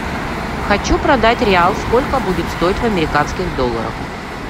хочу продать реал сколько будет стоить в американских долларах